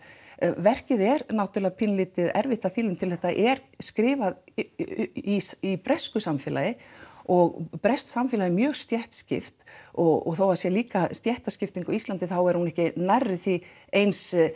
verkið er náttúrulega dálítið erfitt að því leytinu þetta er skrifað í í bresku samfélagi og breskt samfélag er mjög stéttskipt og þó að það sé líka stéttaskipting á Íslandi þá er hún ekki nærri því eins